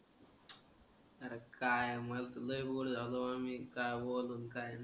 आरं काय मला तर लय बोलू झालोय मी. काय बोलू नि काय नाही.